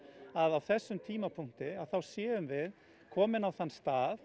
að á þessum tímapunkti að þá séum við komin á þann stað